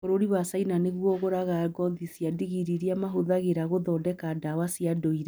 Bũrũri wa China nĩguo ũgũraga ngothi cia ndigiri iria mahũthĩraga gũthondeka ndawa cia ndũire.